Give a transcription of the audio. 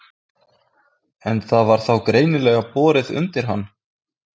En það var þá greinilega borið undir hann?